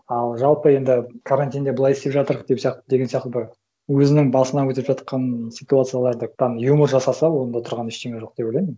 ал жалпы енді карантинде былай істеп жатырық деп сияқты деген секілді өзінің басынан өтіп жатқан ситуацияларды там юмор жасаса онда тұрған ештеңе жоқ деп ойлаймын